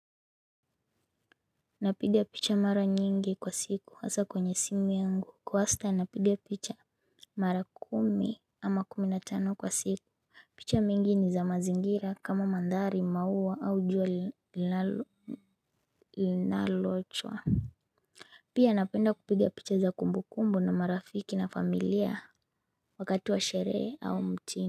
Napigia picha mara nyingi kwa siku hasa kwenye simu yangu kwa wastan napigia picha mara kumi ama kumi na tano kwa siku picha mingi ni za mazingira kama mandhari, maua au jua linalochwa. Pia napenda kupiga picha za kumbukumbu na marafiki na familia wakati wa sherehe au mtini.